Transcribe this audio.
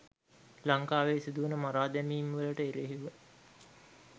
ලංකාවේ සිදුවන මරාදැමීම් වලට එරෙහිව